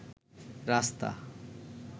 রাস্তা